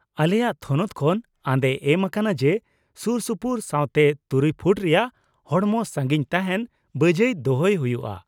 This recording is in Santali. ᱟᱞᱮᱭᱟᱜ ᱛᱷᱚᱱᱚᱛ ᱠᱷᱚᱱ ᱟᱸᱫᱮ ᱮᱢ ᱟᱠᱟᱱᱟ ᱡᱮ ᱥᱩᱨᱥᱩᱯᱩᱨ ᱥᱟᱶᱛᱮ ᱖ ᱯᱷᱩᱴ ᱨᱮᱭᱟᱜ ᱦᱚᱲᱢᱚ ᱥᱟᱹᱜᱤᱧ ᱛᱟᱦᱮᱱ ᱵᱟᱹᱡᱟᱹᱭ ᱫᱚᱦᱚᱭ ᱦᱩᱭᱩᱜᱼᱟ ᱾